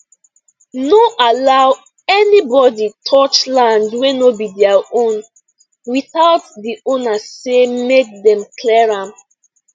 no allow anybody touch land wey no be their own without the owner say make dem clear am